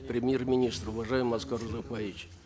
премьер министр уважаемый аскар узакбаевич